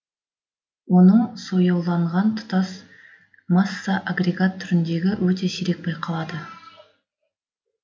оның сояуланған тұтас масса агрегат түріндегі өте сирек байқалады